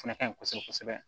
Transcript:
O fɛnɛ ka ɲi kosɛbɛ kosɛbɛ